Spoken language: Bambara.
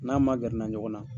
N'a magɛnna ɲɔgɔn na.